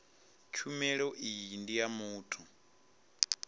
tshumelo iyi ndi ya muthu